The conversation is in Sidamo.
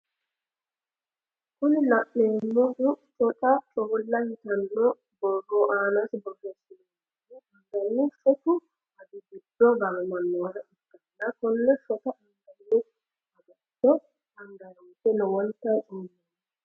Kuni la'neemohu coca coola yitanno borro aanasi borreesinoonihu angani shotu agi giddo gaamamannoha ikkanna konne shota anganni agato anganiwoyiite lowonta coomanno.